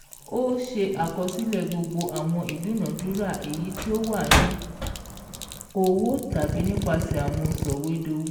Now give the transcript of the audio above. Ó se àkosílè gbogbo àwọn ìdúnadúrà èyí tí ówà ní owó tàbí nípasè àwọn sòwédowó